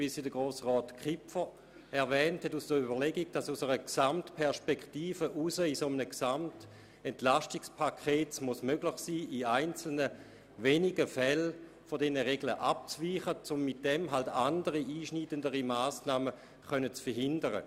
Wie auch Grossrat Kipfer gesagt hat, ist es aus einer Gesamtperspektive betrachtet sinnvoll, im Rahmen eines EP in einigen wenigen Fällen von diesen Regeln abzuweichen, um damit andere, einschneidendere Massnahmen zu verhindern.